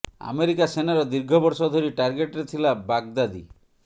America ସେନାର ଦୀର୍ଘ ବର୍ଷ ଧରି ଟାର୍ଗେଟରେ ଥିଲା ବାଗଦାଦି